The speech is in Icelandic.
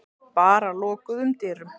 Bara lokuðum dyrum.